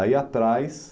Aí atrás...